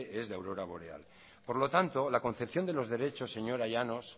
es de aurora boreal por lo tanto la concepción de los derechos señora llanos